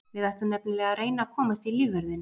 Við ætlum nefnilega að reyna að komast í lífvörðinn.